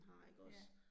Ja